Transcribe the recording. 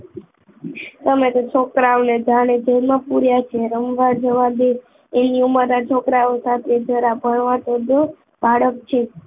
તમે તો છોકરાઓને જાણે જેલમાં પુર્યા છે રમવા જવા દે એમની ઉમરના છોકરાઓ સાથે જરા ભણવા તો દો બાળક છે